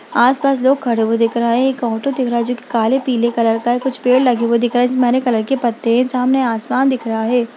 आसपास लोग खड़े हुए दिख रहे है एक ऑटो दिख रहा है जो की काले पिले कलर का है कुछ पेड़ लगे हुए दिख रहे हैं जिसमे हरे कलर के पत्ते हैं सामने आसमान दिख रहा है।